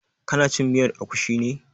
Ka na cin miyar agushi ne?